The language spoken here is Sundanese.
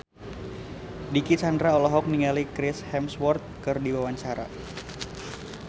Dicky Chandra olohok ningali Chris Hemsworth keur diwawancara